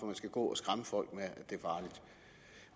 man skal gå og skræmme folk